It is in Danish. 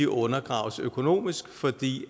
undergraves økonomisk fordi